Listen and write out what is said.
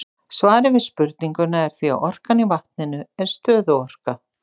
Svarið við spurningunni er því að orkan í vatninu er stöðuorka.